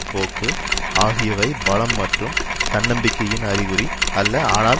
போக்கு ஆகியவை பலம் மற்றும் தன்னம்பிக்கையின் அறிகுறி அல்ல ஆனால்